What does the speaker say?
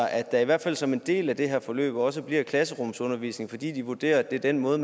at der i hvert fald som en del af det her forløb også bliver klasserumsundervisning fordi de vurderer at det er den måde